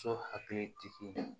So hakili tigi